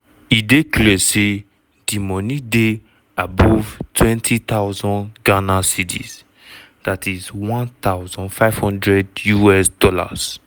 e dey clear say di moni dey above ghc 20k ($1500).